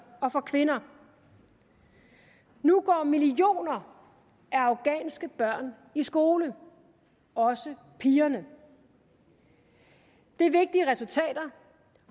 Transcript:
og for kvinder nu går millioner af afghanske børn i skole også pigerne det er vigtige resultater